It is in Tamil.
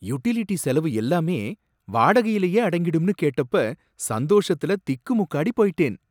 யுட்டிலிட்டி செலவு எல்லாமே வடகையிலையே அடங்கிடும்னு கேட்டப்ப சந்தோஷத்துல திக்குமுக்காடி போயிட்டேன்.